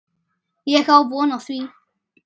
Ég á von á því.